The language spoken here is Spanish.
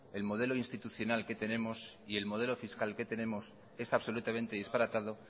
el modelo institucional que tenemos y el modelo fiscal que tenemos es absolutamente disparatado